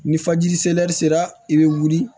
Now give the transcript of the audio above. Ni fajiri selɛri sera i bɛ wuli